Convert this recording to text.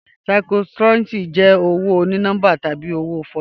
Cryptocurrency jẹ owo oní-nọmbà tabi owo fọ̀jú